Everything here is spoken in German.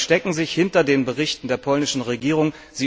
Sie verstecken sich hinter den Berichten der polnischen Regierung.